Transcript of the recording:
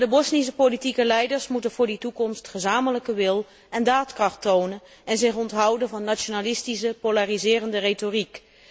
Maar de Bosnische politieke leiders moeten voor die toekomst gezamenlijke wil en daadkracht tonen en zich onthouden van nationalistische polariserende retoriek.